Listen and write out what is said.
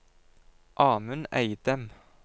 Amund Eidem